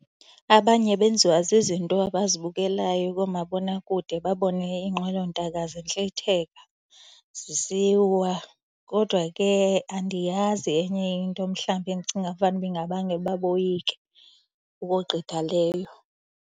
Abanye benziwa zizinto abazibukelayo koomabonakude, babone iinqwelontaka zintlitheka, zisiwa. Kodwa ke andiyazi enye into mhlawumbi endicinga fanuba ingabangela ukuba boyike ukogqitha leyo.